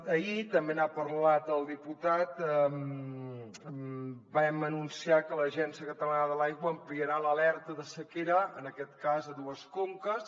ahir també n’ha parlat el diputat vam anunciar que l’agència catalana de l’aigua ampliarà l’alerta de sequera en aquest cas a dues conques